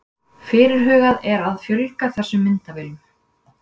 Fyrirhugað er að fjölga þessum myndavélum